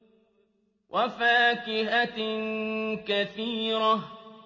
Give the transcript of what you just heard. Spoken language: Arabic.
وَفَاكِهَةٍ كَثِيرَةٍ